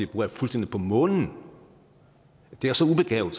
bruger er fuldstændig på månen det er så ubegavet